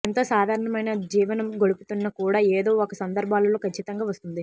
ఎంతో సాధారణమైన జీవనం గడుపుతున్న కూడా ఏదో ఒక సందర్భాలలో ఖచ్చితంగా వస్తుంది